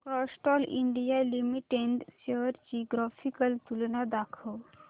Castrol India limited shares ची graphical तुलना दाखव